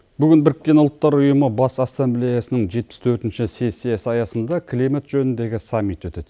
бүгін біріккен ұлттар ұйымы бас ассамблеясының жетпіс төртінші сессиясы аясында климат жөніндегі саммит өтеді